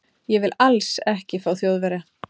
Ég vil ALLS ekki fá Þjóðverja.